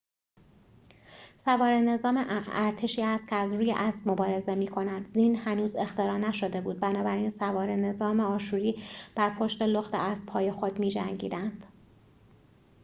سواره نظام ارتشی است که از روی اسب مبارزه می‌کند زین هنوز اختراع نشده بود بنابراین سواره نظام آشوری بر پشت لخت اسبهای خود می‌جنگیدند